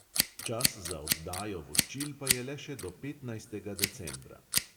Čas za oddajo voščil pa je le še do petnajstega decembra.